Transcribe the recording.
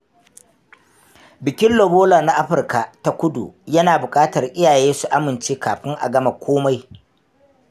Bikin Lobola na Afirka ta Kudu yana bukatar iyaye su amince kafin a gama komai.